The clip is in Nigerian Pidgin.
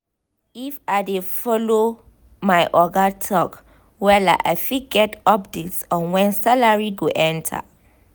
if i dey follow my oga talk wella i fit get update on when salary go enter.